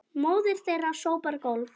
Móðir þeirra sópar gólf